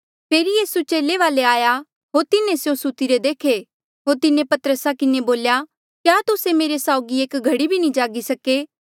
फेरी यीसू चेले वाले आया होर तिन्हें स्यों सुतिरे देखे होर तिन्हें पतरसा किन्हें बोल्या क्या तुस्से मेरे साउगी एक घड़ी भी जागी नी सके